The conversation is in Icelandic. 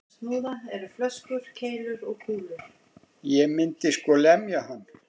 Ég myndi sko lemja hann.